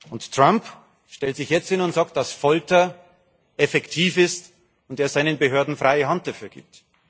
Und Trump stellt sich jetzt hin und sagt, dass Folter effektiv ist und er seinen Behörden freie Hand dafür gibt.